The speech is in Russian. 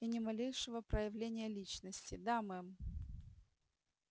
и ни малейшего проявления личности да мэм